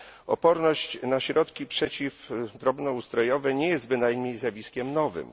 Oporność na środki przeciw drobnoustrojowe nie jest bynajmniej zjawiskiem nowym.